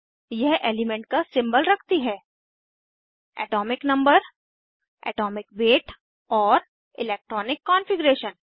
यह एलीमेंट का सिंबल रखती है एटॉमिक नंबर एटॉमिक वेट और इलेक्ट्रॉनिक कॉन्फ़िगरेशन